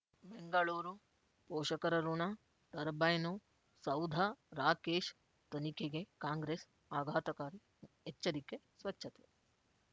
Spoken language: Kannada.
ಬೆಂಗಳೂರು ಪೋಷಕರಋಣ ಟರ್ಬೈನು ಸೌಧ ರಾಕೇಶ್ ತನಿಖೆಗೆ ಕಾಂಗ್ರೆಸ್ ಆಘಾತಕಾರಿ ಎಚ್ಚರಿಕೆ ಸ್ವಚ್ಛತೆ